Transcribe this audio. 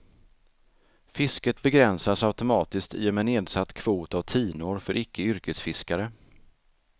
Fisket begränsas automatiskt i och med nedsatt kvot av tinor för icke yreksfiskare.